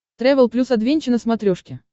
трэвел плюс адвенча на смотрешке